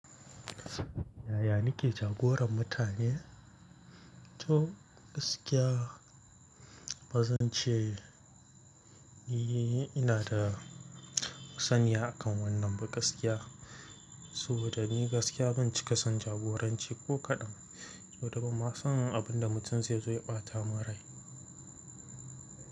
Yaya nake jagoran mutane? To gaskiya bazan ce ni ina da masaniya akan wannan ba gaskiya. Saboda ni gaskiya ban cika son jagoranci ko kaɗan. Saboda ban ma son abin da mutum zai zo ya ɓata min rai.